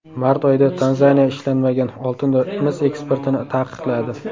Mart oyida Tanzaniya ishlanmagan oltin va mis eksportini taqiqladi.